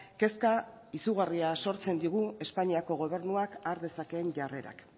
kezka izugarria sortzen digu espainiako gobernuak har dezakeen jarrerak